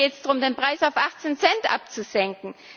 In Spanien geht es darum, den Preis auf achtzehn Cent abzusenken.